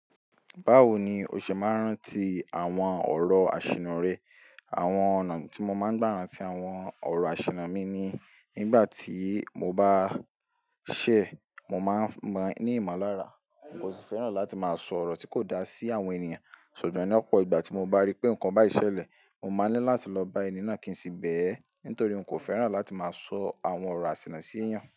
Báwo ni o ṣe máa ń rántí àwọn ọ̀rọ̀ àṣìnnà rẹ? Àwọn ọ̀nà tí mo máa ń gbà ran ti àwọn ọ̀rọ̀ àṣìnnà mi ni nígbà tí mo bá ṣẹ̀, mo máa ń máa ní ìmọ̀lára. N kò fẹ́ràn láti máa sọ ọ̀rọ̀ tí kò da sí àwọn ènìyàn, ṣùgbọ́n ní ọ̀pọ̀ ìgbà tí mo bá rí pé nǹkan báyi sẹ̀lẹ̀, mo máa ní láti lọ bá ẹni náà kí n sì bẹ̀ ẹ́, nítorí n kò fẹ́ràn láti máa sọ àwọn ọ̀rọ̀ àṣìnnà sí ènìyàn.